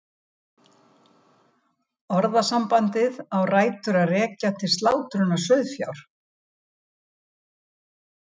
Orðasambandið á rætur að rekja til slátrunar sauðfjár.